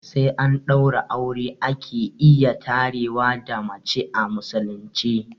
Sai an ɗaura aure ake iya tarewa da mace a musulunci